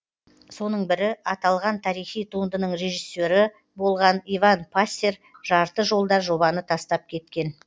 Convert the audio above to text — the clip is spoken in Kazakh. соның бірі аталған тарихи туындынының режиссері болған иван пассер жарты жолда жобаны тастап кеткен